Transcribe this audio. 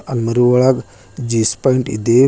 ಅಲ್ಮರು ಒಳಗ್ jeans pant ಇದೆ.